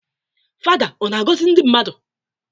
Fada ọ na-agọzị ndị mmadụ?